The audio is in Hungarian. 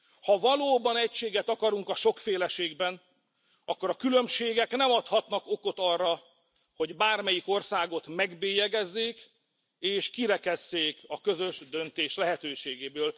Ha valóban egységet akarunk a sokféleségben, akkor a különbségek nem adhatnak okot arra, hogy bármelyik országot megbélyegezzék, és kirekesszék a közös döntés lehetőségéből.